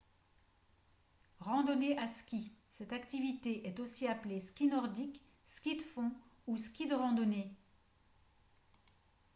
randonnée à skis cette activité est aussi appelée ski nordique ski de fond ou ski de randonnée